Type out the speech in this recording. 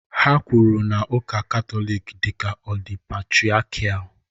Ha kwuru na ụka Katọlik dị ka ọ dị patriakial